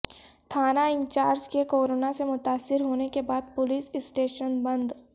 تھانہ انچارج کے کورونا سے متاثر ہونے کے بعد پولیس اسٹیشن بند